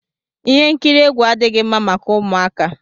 Ihe nkiri egwu adịghị mma maka ụmụaka.